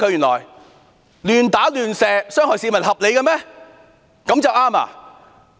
亂打亂射市民、傷害市民合理嗎？